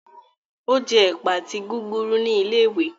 O je ẹpa àti gúgúrú ní ilé-ìwé.